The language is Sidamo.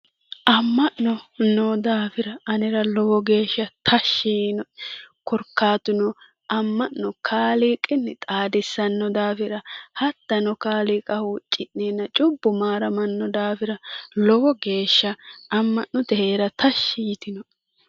Amma'no noo daafira anera lowo geeshsha tashshi yiinoe. Korkaatuno amma'no kaaliiqinni xaadissanno daafira. Hattono kaaliiqa huucci'neenna cubbu maaramanno daafira. Lowo geeshsha amma'notenni heera tashshi yitinoe.